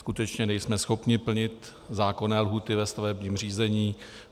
Skutečně nejsme schopni plnit zákonné lhůty ve stavebním řízení.